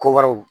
Ko wɛrɛw